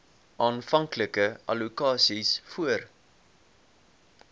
aanvanklike allokasies voor